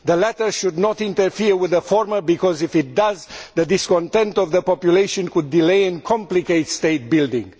The latter should not interfere with the former because, if it does, the discontent of the population could delay and complicate state building.